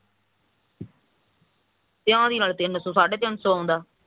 ਤੇ ਉਹ ਕਹਿੰਦੀ ਤਿੰਨ ਸੋ ਸਾਢੇ ਤਿੰਨ ਸੋ ਆਉਂਦਾ